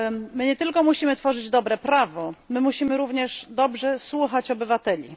My nie tylko musimy tworzyć dobre prawo, my musimy również dobrze słuchać obywateli.